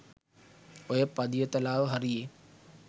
ඔය පදියතලාව හරියෙ